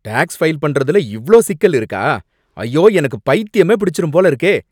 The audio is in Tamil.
டேக்ஸ் ஃபைல் பண்றதுல இவ்ளோ சிக்கல் இருக்கா, ஐயோ எனக்குப் பைத்தியமே பிடிச்சிரும் போலருக்கே!